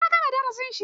Ya gama darasin shi.